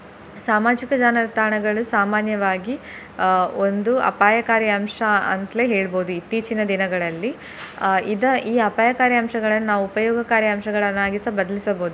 ಸಾಮಾಜಿಕ ಜಾಲತಾಣಗಳು ಸಾಮಾನ್ಯವಾಗಿ ಅಹ್ ಒಂದು ಅಪಾಯಕಾರಿ ಅಂಶ ಅಂತ್ಲೇ ಹೇಳ್ಬೋದು ಇತ್ತೀಚಿನ ದಿನಗಳಲ್ಲಿ ಅಹ್ ಇದ~ ಈ ಅಪಾಯಕಾರಿ ಅಂಶಗಳನ್ನು ನಾವು ಉಪಯೋಗಕಾರಿ ಅಂಶಗಳನ್ನಾಗಿಸ ಬದ್ಲಿಸಬಹುದು.